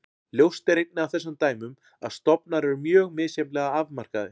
Ljóst er einnig af þessum dæmum að stofnar eru mjög misjafnlega afmarkaðir.